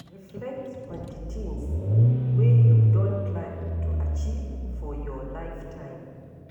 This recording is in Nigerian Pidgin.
Reflect on di things wey you don plan to achieve for your lifetime